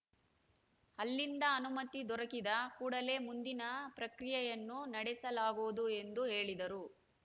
ಅಲ್ಲಿಂದ ಅನುಮತಿ ದೊರಕಿದ ಕೂಡಲೇ ಮುಂದಿನ ಪ್ರಕ್ರಿಯೆಯನ್ನು ನಡೆಸಲಾಗುವುದು ಎಂದು ಹೇಳಿದರು